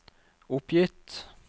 oppgitt